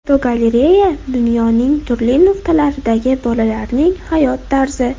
Fotogalereya: Dunyoning turli nuqtalaridagi bolalarning hayot tarzi.